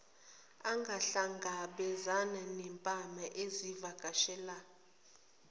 angahlangabezani nempama izivakashela